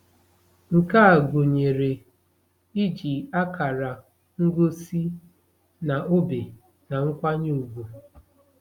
Nke a gụnyere iji akara ngosi na obe na nkwanye ùgwù.